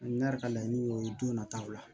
Ne yɛrɛ ka laɲini ye o ye don nataw la